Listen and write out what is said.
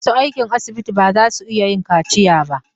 Masu aikin asibiti ba za su iya yin kaciya ba.